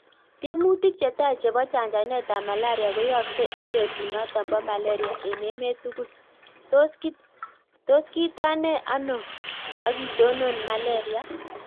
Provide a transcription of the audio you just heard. Tiemutik chetai chepoo chanjanet ap malaria koyaaksei eng petut notok Po Malaria eng emeet tugul :tos kitanee anoo kitonoon malaria?